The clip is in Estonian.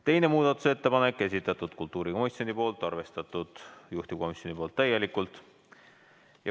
Teine muudatusettepanek, esitanud kultuurikomisjon, juhtivkomisjon on arvestanud täielikult.